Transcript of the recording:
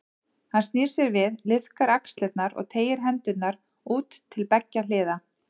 Hann snýr sér við, liðkar axlirnar og teygir hendurnar út til beggja hliða.